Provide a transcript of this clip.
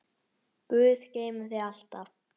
Guð geymi þig alltaf.